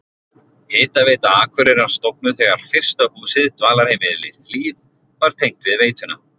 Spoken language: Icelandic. Hitaveita Akureyrar stofnuð þegar fyrsta húsið, dvalarheimilið Hlíð, var tengt við veituna.